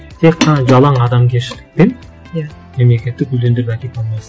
тек қана жалаң адамгершілікпен иә мемлекетті өлеңдеп әкете алмайсың